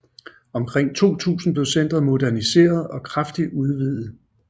Omkring 2000 blev centret moderniseret og kraftigt udvidet